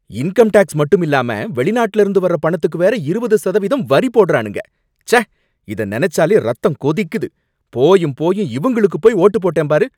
Income tax மட்டும் இல்லாம, வெளிநாட்டில இருந்து வர்ற பணத்துக்கு வேற இருபது சதவீதம் வரி போடறானுங்க, ச்சே இத நினைச்சாலே ரத்தம் கொதிக்குது. போயும் போயும் இவங்களுக்குப் போய் ஒட்டுப் போட்டேன் பாரு